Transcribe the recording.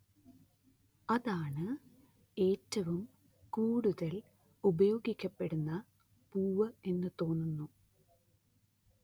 അതാണ് ഏറ്റവും കൂടുതല്‍ ഉപയോഗിക്കപ്പെടുന്ന പൂവ് എന്നു തോന്നുന്നു